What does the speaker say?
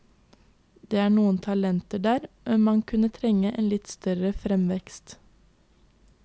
Det er noen talenter der, men man kunne trenge en litt større fremvekst.